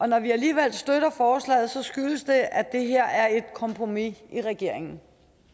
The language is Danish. når vi alligevel støtter forslaget skyldes det at det her er et kompromis i regeringen